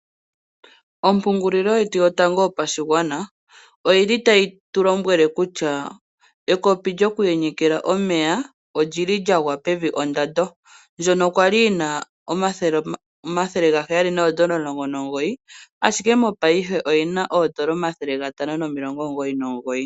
Ompungulilo yetu yotango yopashigwana oyi li tayi tu lombwele kutya ekopi lyoku yenyekela omeya oli li lya gwa pevi ondando, ndono kwali lina $719.00 ashike mopaife olina $599.00